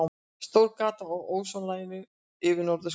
Stórt gat á ósonlaginu yfir norðurskauti